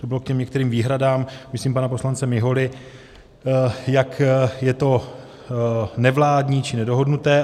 To bylo k těm některým výhradám, myslím, pana poslance Miholy, jak je to nevládní či nedohodnuté.